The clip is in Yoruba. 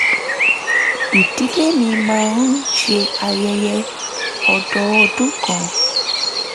ìdílé mi máa ń ṣe ayẹyẹ ọdọọdún kan